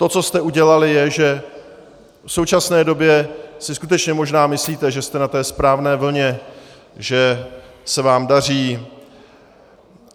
To, co jste udělali, je, že v současné době si skutečně možná myslíte, že jste na té správné vlně, že se vám daří.